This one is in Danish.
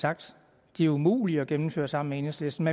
sagt de er umulige at gennemføre sammen med enhedslisten